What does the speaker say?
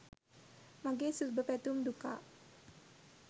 මගෙ සුබපැතුම් දුකා.